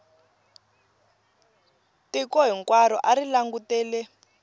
tiko hinkwaro a ri langutele